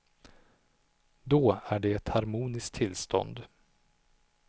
Då är det ett harmoniskt tillstånd.